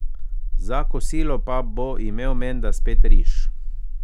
Za kosilo pa bo imel menda spet riž.